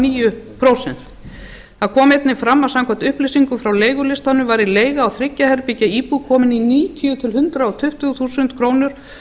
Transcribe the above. níu prósent það kom einnig fram að samkvæmt upplýsingum frá leigulistanum væri leiga á þremur ja herbergja íbúð komin í níutíu til hundrað tuttugu þúsund krónur